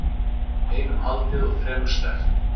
Einum haldið og þremur sleppt